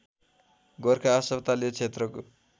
गोरखा अस्पताल यो क्षेत्रको